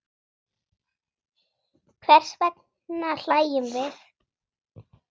Hvers vegna hlæjum við?